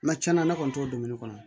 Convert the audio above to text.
Mɛ tiɲɛna ne kɔni t'o dɔni kɔnɔ